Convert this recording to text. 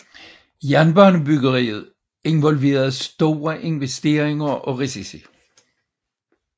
Jernbanebyggeriet involverede store investeringer og risici